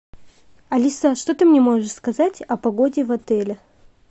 алиса что ты мне можешь сказать о погоде в отеле